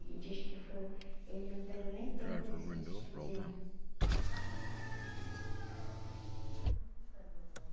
Ele diz que foi... Ele não teve nem tempo de se despedir, né?